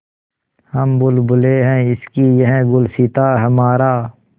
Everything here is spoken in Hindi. हम बुलबुलें हैं इसकी यह गुलसिताँ हमारा